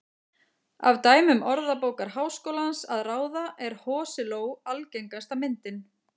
Af dæmum Orðabókar Háskólans að ráða er hosiló algengasta myndin.